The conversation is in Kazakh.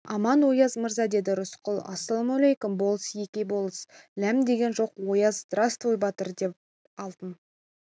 аман ояз мырза деді рысқұл ассалаумәлейкүм болыс-еке болыс ләм деген жоқ ояз здравствуй батыр деп алтын